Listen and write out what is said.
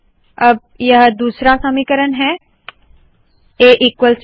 अब दूसरा समीकरण है आ ईक्वल्स ब